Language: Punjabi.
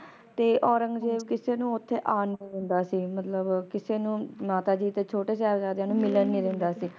ਤੇ ਔਰੰਗਜੇਬ ਕਿਸੇ ਨੂੰ ਓਥੇ ਆਣ ਨੀ ਦਿੰਦਾ ਸੀ ਮਤਲਬ ਕਿਸੇ ਨੂੰ ਮਾਤਾ ਜੀ ਤੇ ਛੋਟੇ ਸਾਹਿਬਜਾਦਿਆਂ ਨੂੰ ਮਿਲਣ ਨਹੀਂ ਦਿੰਦਾ ਸੀ